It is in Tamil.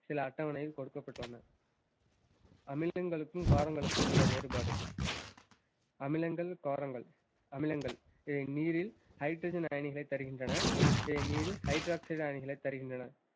சில அட்டவணையில் கொடுக்கப்பட்டுள்ளன அமிலங்களுக்கும் காரங்களுக்கும் உள்ள வேறுபாடு. அமிலங்கள் காரங்கள் அமிலங்கள் இவை நீரில் hydrogen அயனிகளைத் தருகின்றன hydroxide அணுகளைத் தருகின்றன